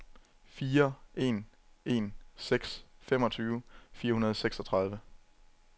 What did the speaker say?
fire en en seks femogtyve fire hundrede og seksogtredive